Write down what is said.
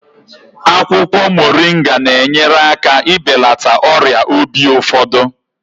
Akwụkwọ Moringa na-enyere aka ibelata ọrịa obi ụfọdụ.